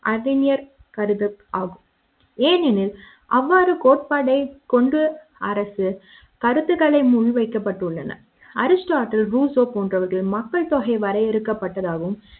அறிஞர் கருத்தாகும் ஏனெனில் அவ்வாறு கோட்பாடை கொண்டு அரசு கருத்துகளை மூவி வைக்கப்பட்டுள்ளன அரிஸ்டா டில் ரூசோ போன்றவர்கள் மக்கள் தொகை வரையறுக்கப்பட்டதாகவும்